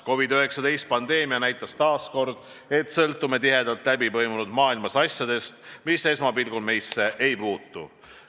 COVID-19 pandeemia näitas taas, et me sõltume tihedalt läbipõimunud maailmas ka asjadest, mis esmapilgul meisse nagu ei puutu.